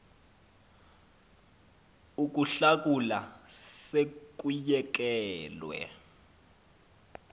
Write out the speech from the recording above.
ukuhlakula se kuyekelelwe